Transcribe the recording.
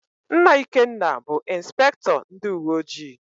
Nna Ikenna bụ Ịnspektọ ndịuweojii.